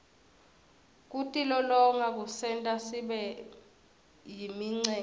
kutilolonga kusenta sibeyimicemene